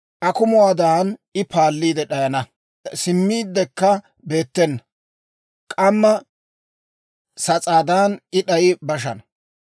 Akumuwaadan I paalli d'ayana; simmiidekka beettena; k'ammaa sas'aadan I d'ayi bashana.